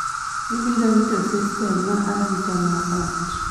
ibiro rito sistem ma arita ma ot